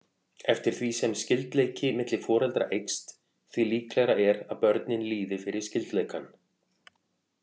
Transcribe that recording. Eftir því sem skyldleiki milli foreldra eykst því líklegra er að börnin líði fyrir skyldleikann.